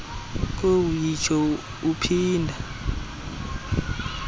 kowu yitsho uphinda